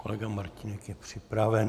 Kolega Martínek je připraven.